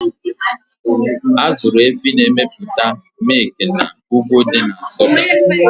Azụrụ Efi na emepụta mịkna ugwu dị na Nsụka